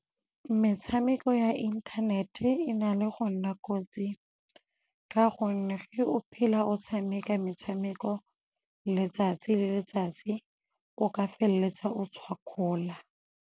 Metshameko ya inthanete e na le go nna kotsi ka gonne ge o phela o tshameka metshameko letsatsi le letsatsi o ka feleletsa o tshwakgola.